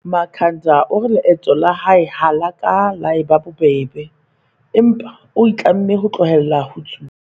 Makhanda o re leeto la hae ha le ka la eba bobebe, empa o itlamme ho tlohela ho tsuba.